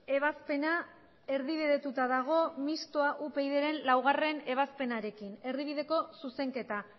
ebazpena erdibidetuta dago mistoa upydren laugarrena ebazpenarekin erdibideko zuzenketa